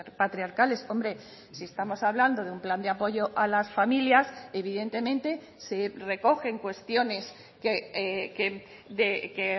patriarcales hombre si estamos hablando de un plan de apoyo a las familias evidentemente se recogen cuestiones que